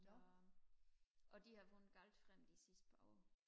og de har vundet galt frem de sidste par år